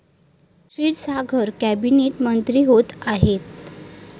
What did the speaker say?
Kshirsagar cabinet मंत्री होत आहेत.